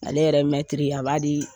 Ale yɛrɛ mɛtiri a b'a di